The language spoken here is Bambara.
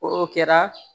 O kɛra